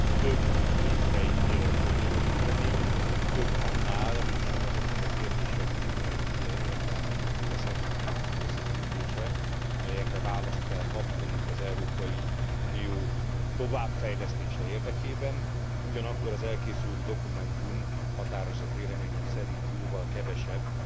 több mint egy problémagyűjtemény, több annál, mint azoknak a kérdéseknek egy értelmes logika szerinti összegyűjtése, amelyekre választ kell kapnunk az Európai Unió továbbfejlesztése érdekében, ugyanakkor az elkészült dokumentum határozott véleményem szerint jóval kevesebb,